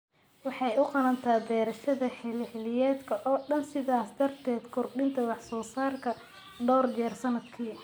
Waxay u ogolaataa beerashada xilli-xilliyeedka oo dhan, sidaas darteed kordhinta wax-soo-saarka dhowr jeer sannadkii.